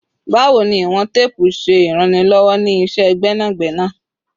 Bawo ni iwọn teepu ṣe iranlọwọ ni iṣẹ gbẹnagbẹna?